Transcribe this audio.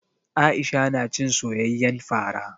Aisha na cin soyayyen fara.